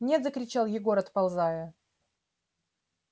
нет закричал егор отползая